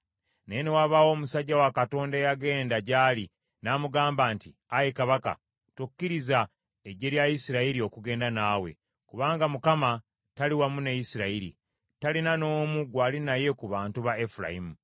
Naye ne wabaawo omusajja wa Katonda eyagenda gy’ali n’amugamba nti, “Ayi kabaka, tokkiriza eggye lya Isirayiri okugenda naawe, kubanga Mukama tali wamu ne Isirayiri, talina n’omu gwali naye ku bantu ba Efulayimu.